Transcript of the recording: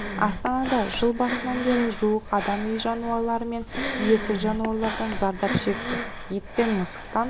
астанада жыл басынан бері жуық адам үй жануарлары мен иесіз жануарлардан зардап шекті ит пен мысықтан